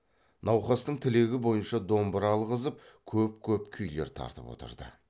науқастың тілегі бойынша домбыра алғызып көп көп күйлер тартып отырды